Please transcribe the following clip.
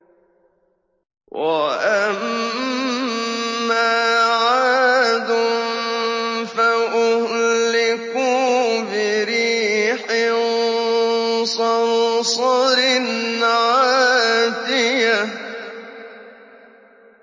وَأَمَّا عَادٌ فَأُهْلِكُوا بِرِيحٍ صَرْصَرٍ عَاتِيَةٍ